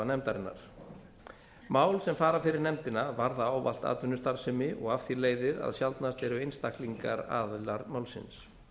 nefndarinnar mál sem fara fyrir nefndina varða ávallt atvinnustarfsemi og af því leiðir að sjaldnast eru einstaklingar aðilar málsins